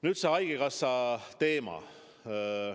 Nüüd see haigekassa teema.